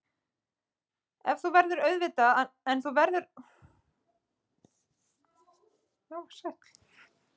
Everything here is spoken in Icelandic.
En þú verður auðvitað að nota smokk, ég tek ekki annað í mál.